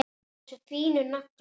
Allir þessir fínu naglar!